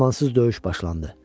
Amansız döyüş başlandı.